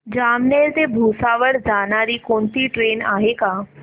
जामनेर ते भुसावळ जाणारी कोणती ट्रेन आहे का